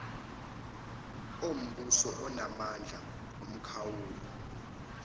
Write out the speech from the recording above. ombuso anamandla omkhawulo